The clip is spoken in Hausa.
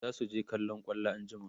zasu je kallon kwallo anjima